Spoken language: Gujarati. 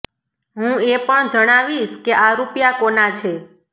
હું એ પણ જણાવીશ કે આ રૂપિયા કોના છે